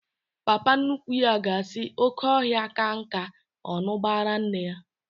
Papa nnukwu ya ga-asị, oké ọhịa ka nka, ọ ṅuba ara nne ya